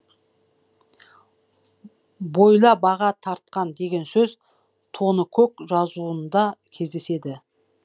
бойла баға тарқан деген сөз тоныкөк жазуында кездеседі